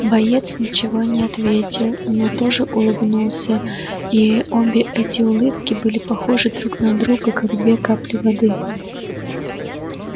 боец ничего не ответил но тоже улыбнулся и обе эти улыбки были похожи друг на друга как две капли воды